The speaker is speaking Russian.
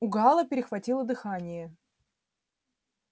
у гаала перехватило дыхание